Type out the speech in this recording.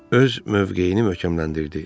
Öz mövqeyini möhkəmləndirdi.